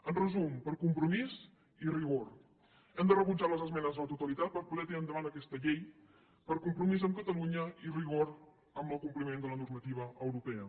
en resum per compromís i rigor hem de rebutjar les esmenes a la totalitat per poder tirar endavant aquesta llei per compromís amb catalunya i rigor amb el compliment de la normativa europea